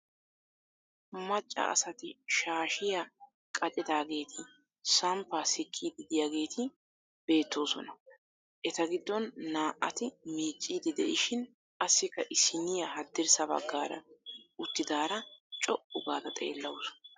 Macca asati shaashiya qaccidaageeti samppaa sikkiiddi diyaageeti beettoosona. Eta giddon naa"ati miicciiddi de"ishin qassikka issiniya haddirssa baggaara uttidaara co"u gaada xeellawusu.